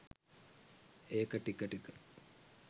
ඒක ටික ටික